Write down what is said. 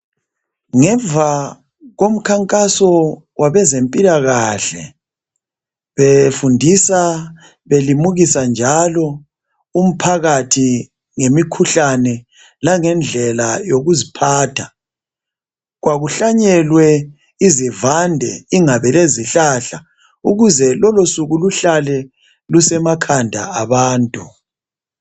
Ngemuva komkhankaso wabezempilakahle befundisa belimukisa njalo umphakathi ngemikhuhlane langendlela yokuziphatha kwakuhlanyelwe izivande lezihlahla ukuze lolosuku luhlale lusemakhanda abantu.